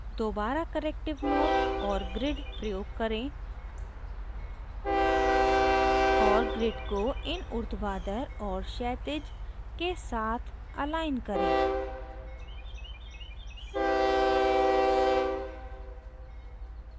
दोबारा corrective mode और grid प्रयोग करें और grid को इन उर्ध्वाधर और क्षैतिज के साथ अलाइन करें